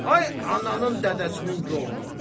Ay ananın, dədəsinin goruna.